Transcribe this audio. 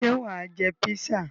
Ṣé wà á jẹ písà?